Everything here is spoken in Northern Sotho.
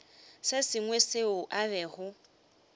se sengwe seo a bego